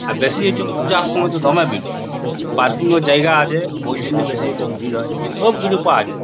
আর বেশি এইট পূজার সময় তে দমে ভিড় হয় পার্কিং ও জায়গা আছে | ওই জন্য বেশি এটাতে ভির হয় সব কিছু পাওয়া যায়।